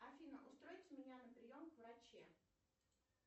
афина устройте меня на прием к врачу